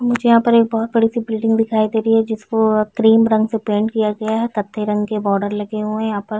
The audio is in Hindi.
मुझे यहाँ पर एक बहुत बड़े से बिल्डिंग दिखाई दे रही है जिसको क्रीम रंग से पेंट किया गया है कत्थई रंग के बॉर्डर लगे हुए है यहाँ पर --